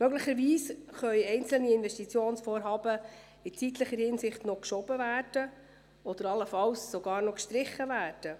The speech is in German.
Möglicherweise können einzelne Investitionsvorhaben in zeitlicher Hinsicht noch verschoben oder allenfalls sogar noch gestrichen werden.